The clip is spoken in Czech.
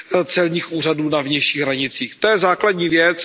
celních úřadů na vnějších hranicích. To je základní věc.